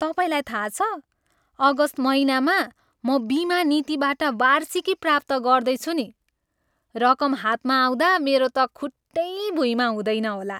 तपाईँलाई थाहा छ, अगस्त महिनामा म बिमा नीतिबाट वार्षिकी प्राप्त गर्दैछु नि। रकम हातमा आउँदा मेरो त खुट्टै भुइँमा हुँदैन होला।